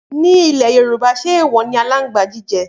Ni ìlé yorùbá ṣẹ ẹwò ni àlàńgbà jìjẹ̀?